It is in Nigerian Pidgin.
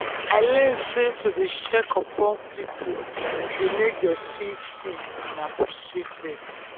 i learn sey to dey check upon people dey make dem feel seen and appreciated.